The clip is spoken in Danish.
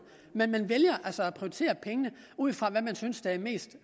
men man vælger at prioritere pengene ud fra hvad man synes der er det mest